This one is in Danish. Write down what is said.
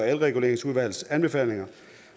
elreguleringsudvalgets anbefalinger